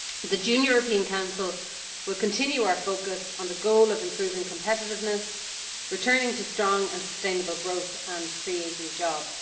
The June European Council will continue our focus on the goal of improving competitiveness, returning to strong and sustainable growth, and creating jobs.